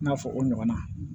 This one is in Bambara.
I n'a fɔ o ɲɔgɔnna